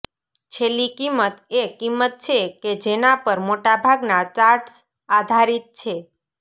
છેલ્લી કિંમત એ કિંમત છે કે જેના પર મોટા ભાગના ચાર્ટ્સ આધારિત છે